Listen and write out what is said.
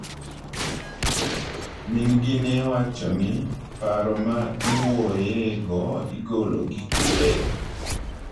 Min gi newachoni,"Paro ma iwuoye go igolo gi kure?"